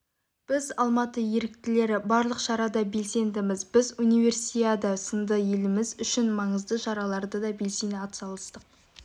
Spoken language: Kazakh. біз алматы еріктілері барлық шарада белсендіміз біз универсиада сынды еліміз үшін маңызды шараларда да белсене атсалыстық